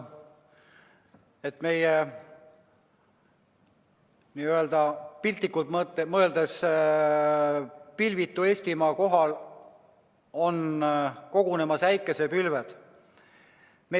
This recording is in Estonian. Tõepoolest, piltlikult öeldes on meie pilvitu Eestimaa kohale kogunemas äikesepilved.